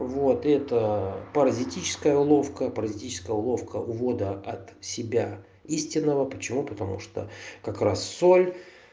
вот это паразитическая уловка паразитическая уловка от себя истинного увода почему потому что как раз соль